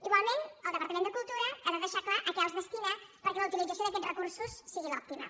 igualment el departament de cultura ha de deixar clar a què els destina perquè la utilització d’aquests recursos sigui l’òptima